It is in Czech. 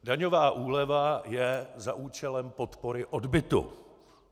Daňová úleva je za účelem podpory odbytu.